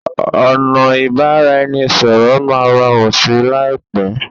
ọnà ibaraẹnisọrọ má rọrùn sí láìpé.